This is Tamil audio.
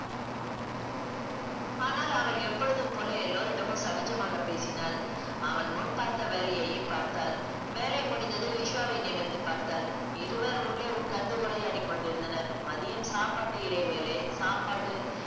ஆனால் அவள் எப்பொழுதும் போல எல்லோரிடமும் சகஜமாக பேசினாள். அவள் முன் பார்த்த வேலையயையே பார்த்தாள். வேலை முடிந்ததும் விஸ்வாவை நிமிர்ந்து பார்த்தாள். இருவர் உள்ளே உட்கார்ந்து உரையாடி கொண்டிருந்தனர். மதியம் சாப்பாட்டு இடைவேளை சாப்பாடு